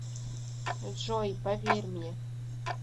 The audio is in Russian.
джой поверь мне